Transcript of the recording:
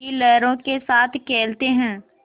की लहरों के साथ खेलते हैं